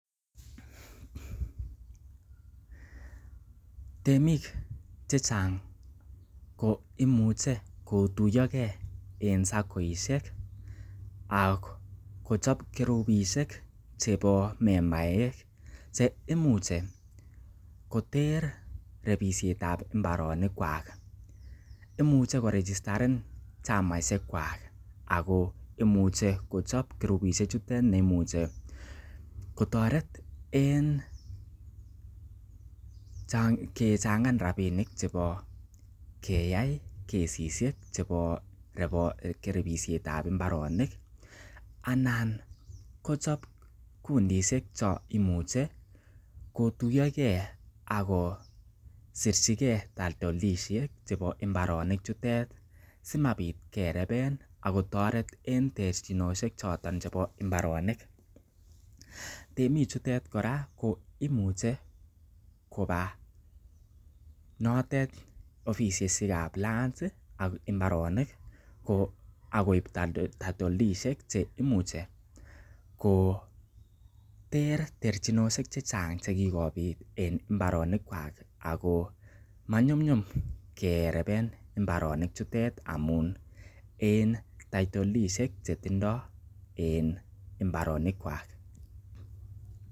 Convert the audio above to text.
Temik chechnag koimuche kotuiyo ge en saccoishek ak kochob kurupishek chbeo membaek cheimuche koter temisiet ab mbaronikkwak imuche korijitaren chamishek kwak agoimuche kochob kurupishek chutet che imuche kotoret en kechnagan rabainik chebo keyai kesishek chebo repisiet ab mbaronik anan kochob kundishek chon kimuche kotuiyo ge akk kosirii ge title deedishek chebo mbaronik chutet simabit kereben akk kotoret en terchinosiek choton bo mbaronik temik chutet kora koimuche koba notet ofisishek ab lands ak imbaronik ak koib title deed ishek che imuche koter terchinosike che chang che kigobit en mbaronikwka ago manyumnyum kereben mbaronik chutet amun en title deed ishek chetindo en mbaronik kwak.